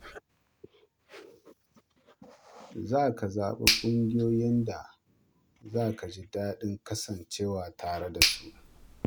Ka zaɓi ƙungiyoyin da za ka ji daɗin kasancewa tare da su.